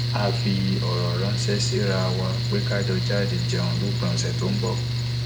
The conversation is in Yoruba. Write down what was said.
a fi ọrọ ránṣẹ síra wa pé ká jọ jáde jẹun lópin ọsẹ tó ń bọ